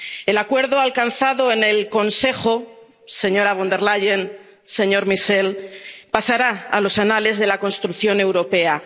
El acuerdo alcanzado en el Consejo, señora Von der Leyen, señor Michel, pasará a los anales de la construcción europea.